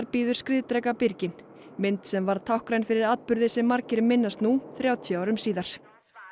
býður skriðdreka birginn mynd sem varð táknræn fyrir atburði sem margir minnast nú þrjátíu árum síðar